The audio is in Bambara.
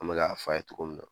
An bɛ ka a f'a ye togo min na